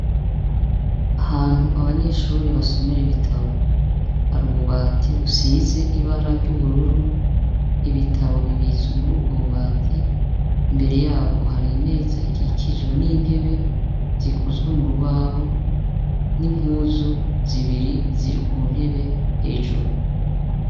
Ahantu abanyeshure basomera ibitabo, hari ububati busize ibara ry' ubururu, ibitabu bibitswe muri ubwo bubati, imbere yabwo hari imeza ikikijwe n' intebe zikozwe murubaho n' impuzu zibiri ziri ku ntebe hejuru.